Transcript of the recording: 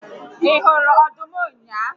Ị hụrụ ọdụm ụnyaahụ?